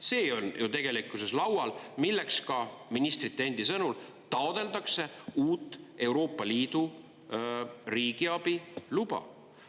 See on ju tegelikkuses laual, milleks ka ministrite endi sõnul taotletakse uut Euroopa Liidu riigiabi luba.